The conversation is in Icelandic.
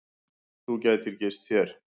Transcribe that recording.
Þú gætir gist hér.